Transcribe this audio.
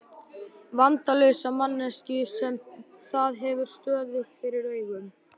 Vandalausa manneskju sem það hefur stöðugt fyrir augunum.